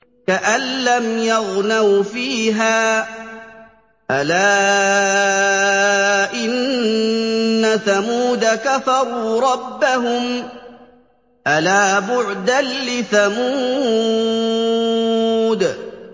كَأَن لَّمْ يَغْنَوْا فِيهَا ۗ أَلَا إِنَّ ثَمُودَ كَفَرُوا رَبَّهُمْ ۗ أَلَا بُعْدًا لِّثَمُودَ